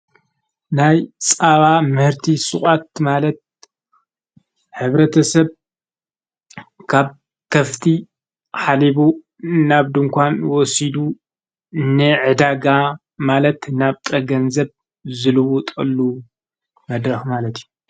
ናይ ፀባ ምህርቲ ሽቋት ማለት ሕብረተሰብ ካብ ከፍቲ ሓሊቡ ናብ ድንኳን ወሲድና ናብዕዳጋ ማለት ናብ ጠረገንዘብ ዝልውጠሉ መድረኽ ማለት እዩ።